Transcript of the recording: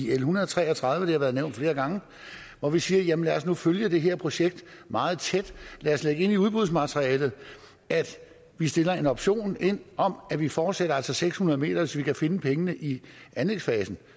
l en hundrede og tre og tredive det har været nævnt flere gange hvor vi siger lad os nu følge det her projekt meget tæt lad os lægge ind i udbudsmaterialet at vi sætter en option ind om at vi altså fortsætter seks hundrede meter hvis vi kan finde pengene i anlægsfasen og